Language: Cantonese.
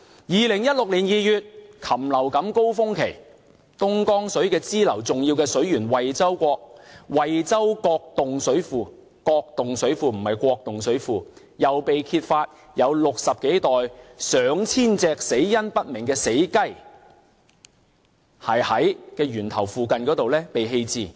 2016年2月，禽流感高峰期，東江水支流的重要水源惠州角洞水庫——是角洞水庫，不是國洞水庫——又被揭發有60多袋上千隻死因不明的死雞在源頭附近被棄置。